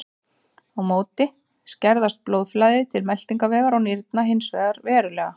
Á móti skerðist blóðflæði til meltingarvegar og nýrna hins vegar verulega.